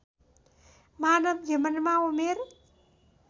मानव जीवनमा उमेर